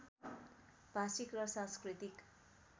भाषिक र सांस्कृतिक